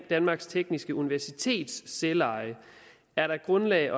danmarks tekniske universitets selveje er der grundlag